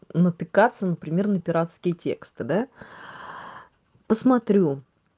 натыкаться например на пиратские тексты да посмотрю